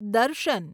દર્શન